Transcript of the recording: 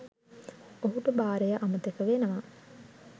ඔහුට බාරය අමතක වෙනවා.